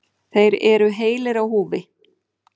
Þeir eru heilir á húfi.